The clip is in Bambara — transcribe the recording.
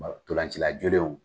Nka ntolacila jolenw